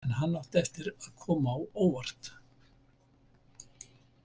En hann átti eftir að koma á óvart.